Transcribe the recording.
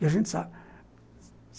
E a gente sabe.